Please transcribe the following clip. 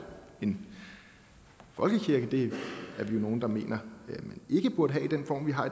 en folkekirke det er vi nogle der mener man ikke burde have i den form vi har